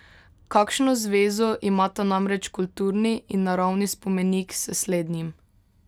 Kakšno zvezo imata namreč kulturni in naravni spomenik s slednjim?